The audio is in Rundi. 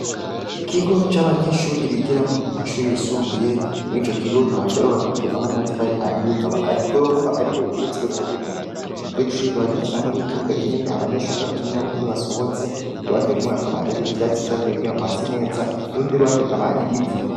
Ikigo c'abanyeshure bigiramwo mu mashure yisumbuye, murico kigo kikaba carubakishijwe hamwe n'amatafari ahiye akaba ari igorofa ariko rigeretsweko rimwe, ico kigo kikaba gifise hamwe n'ikibuga kinini abanyeshure bakiniramwo iyo basohotse, uruhande rumwe hakaba hari ivyatsi vyatewe kugira hase neza, urundi ruhande akaba ari ivu.